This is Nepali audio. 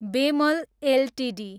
बेमल एलटिडी